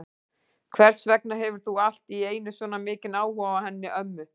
Hvers vegna hefur þú allt í einu svona mikinn áhuga á henni ömmu?